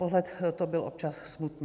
Pohled to byl občas smutný.